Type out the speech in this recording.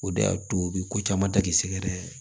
O de y'a to u bɛ ko caman ta k'i sɛgɛrɛ